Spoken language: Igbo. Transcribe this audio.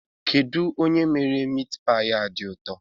Kedụ onye mere mitpaị a dị ụtọ?